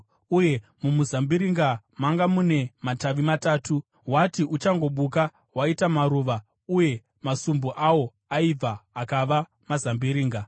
uye mumuzambiringa manga mune matavi matatu. Wati uchangobuka, waita maruva, uye masumbu awo aibva akava mazambiringa.